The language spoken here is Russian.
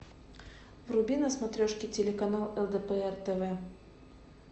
вруби на смотрешке телеканал лдпр тв